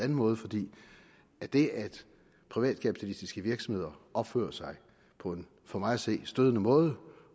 måde fordi at det at privatkapitalistiske virksomheder opfører sig på en for mig at se stødende måde